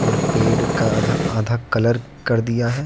पेड़ का आधा आधा कलर कर दिया है।